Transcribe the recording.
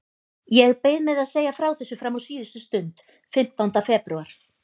Ég beið með að segja frá þessu fram á síðustu stund, fimmtánda febrúar.